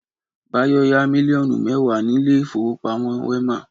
Báyọ̀ yá mílíọ́nù mẹ́wàá náírà ní ilé ìfowópamọ́ Wema